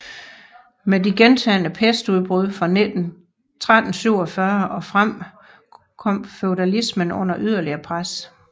Med de gentagne pestudbrud fra 1347 og frem kom feudalismen under yderligere pres